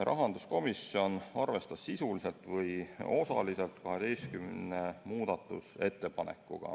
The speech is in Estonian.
Rahanduskomisjon arvestas sisuliselt või osaliselt 12 muudatusettepanekut.